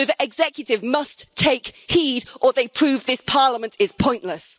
So the executive must take heed or they prove this Parliament is pointless.